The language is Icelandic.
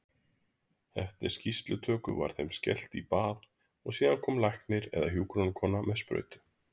Eftir skýrslutöku var þeim skellt í bað og síðan kom læknir eða hjúkrunarkona með sprautu.